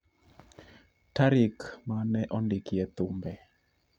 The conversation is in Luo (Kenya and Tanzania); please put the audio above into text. tarik ma ne ondikie thumbe